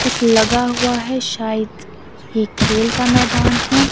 कुछ लगा हुआ है शायद ये खेल का मैदान है।